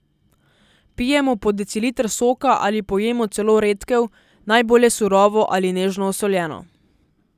Pijemo po deciliter soka ali pojemo celo redkev, najbolje surovo ali nežno osoljeno.